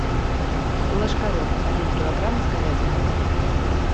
ложкарев один килограмм с говядиной